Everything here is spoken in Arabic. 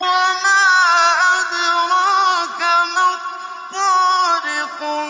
وَمَا أَدْرَاكَ مَا الطَّارِقُ